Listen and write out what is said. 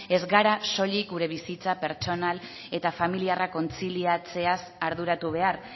ez gara soilik gure bizitza pertsonal eta familiarra kontziliatzeaz arduratu behar